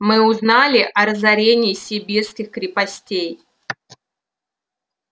мы узнали о разорении сибирских крепостей